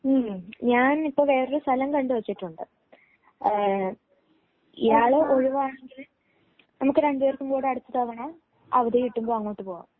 മ്മ് ഞാൻ ഇപ്പോൾ വേറൊരു സ്ഥലം കണ്ടു വച്ചിട്ടുണ്ട് ഇയാൾ ഒഴിവാണെങ്കിൽ നമുക്ക് രണ്ടുപേർക്കുംകൂടി അടുത്ത തവണ അവധി കിട്ടുമ്പോൾ അങ്ങോട്ട് പോകാം.